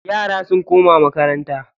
Yara sun koma makaranta.